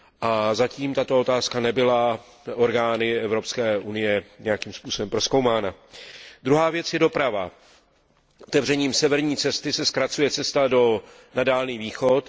A zatím tato otázka nebyla orgány Evropské unie nějakým způsobem prozkoumána. Druhá věc je doprava. Otevřením severní cesty se zkracuje cesta na Dálný východ.